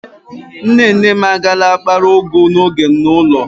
Nne nne m agaala akpara ugu n'oge a n'ulo